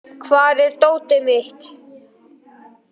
Benvý, hvar er dótið mitt?